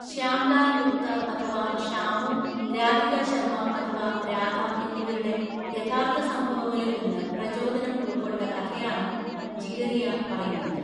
ശ്യാംലാൽ ഗുപ്ത അഥവാ ഷാമു, രാധിക ശർമ അഥവാ രാധ എന്നിവരുടെ, യഥാർത്ഥ സംഭവങ്ങളിൽ നിന്ന് പ്രചോദനം ഉൾക്കൊണ്ട കഥയാണ് ജിഗരിയാ പറയുന്നത്.